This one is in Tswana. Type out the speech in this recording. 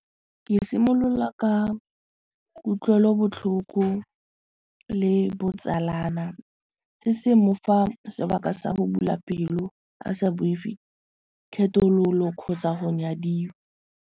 Ke simolola ka kutlwelobotlhoko le botsalana se se mofa sebaka sa go bula pelo a sa boifi kgethololo kgotsa go nyadiwa.